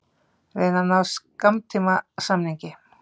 Reyna að ná skammtímasamningi